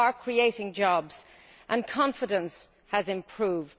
We are creating jobs and confidence has improved.